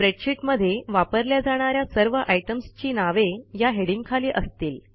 spreadsheet मध्ये वापरल्या जाणा या सर्व आयटम्सची नावे या हेडिंगखाली असतील